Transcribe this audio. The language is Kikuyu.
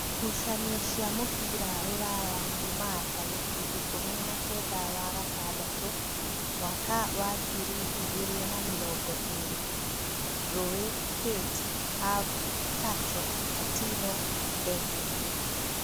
Ngucanio cĩa mũbira Rūraya Jumaa tarĩki ikũmi na-kenda wa-gatandatũ mwaka wa ngiri igĩrĩ na mĩrongo ĩrĩ: Rui, Kate, Have, Sacho, Katino, Ndeke